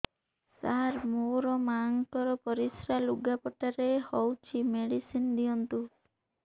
ସାର ମୋର ମାଆଙ୍କର ପରିସ୍ରା ଲୁଗାପଟା ରେ ହଉଚି ମେଡିସିନ ଦିଅନ୍ତୁ